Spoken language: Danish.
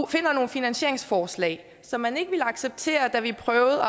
finder nogle finansieringsforslag som man ikke ville acceptere da vi prøvede at